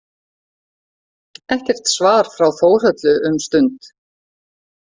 Ekkert svar frá Þórhöllu um stund.